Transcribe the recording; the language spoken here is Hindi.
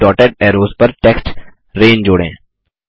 अब डॉटेड ऐरोज़ पर टेक्स्ट रैन जोड़ें